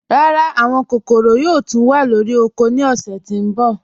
Rárá, àwọn kòkòró yòò túń wà lórí ọ̀kọ̀ ní ọ̀ṣẹ̀ tó nbọ̀